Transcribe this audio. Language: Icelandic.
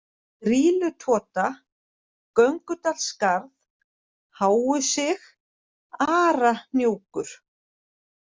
Grýlutota, Göngudalsskarð, Háusig, Arahnjúkur